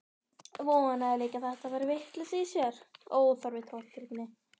Vonaði líka að þetta væri vitleysa í sér, óþarfa tortryggni.